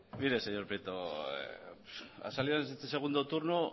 mire señor prieto ha salido en este segundo turno